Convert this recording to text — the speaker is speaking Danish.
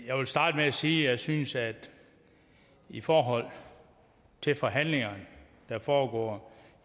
jeg vil starte med at sige at jeg synes at det i forhold til forhandlingerne der foregår